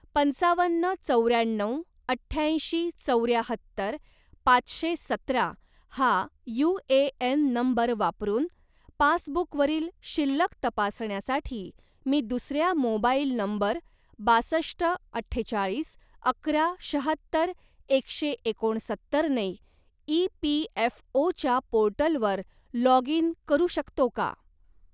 पंचावन्न चौऱ्याण्णव अठ्याऐंशी चौऱ्याहत्तर पाचशे सतरा हा यू.ए.एन नंबर वापरून पासबुकवरील शिल्लक तपासण्यासाठी मी दुसर्या मोबाईल नंबर बासष्ट अठ्ठेचाळीस अकरा शाहत्तर एकशे एकोणसत्तर ने ई.पी.एफ.ओ.च्या पोर्टलवर लॉग इन करू शकतो का?